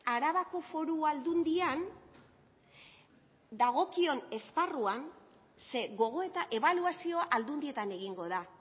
arabako foru aldundian dagokion esparruan ze gogoeta ebaluazioa aldundietan egingo da